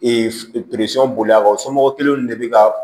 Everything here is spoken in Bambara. bolilakaw somɔgɔ kelen de be ka